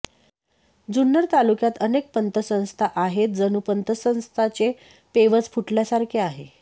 जुन्नर तालुक्यात अनेक पतसंस्था आहेत जणू पतसंस्थांचे पेवच फुटल्यासारखे आहे